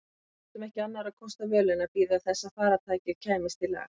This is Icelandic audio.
Við áttum ekki annarra kosta völ en að bíða þess að farartækið kæmist í lag.